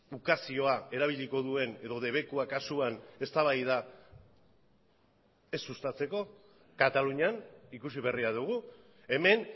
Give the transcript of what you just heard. ukazioa erabiliko duen edo debekua kasuan eztabaida ez sustatzeko katalunian ikusi berria dugu hemen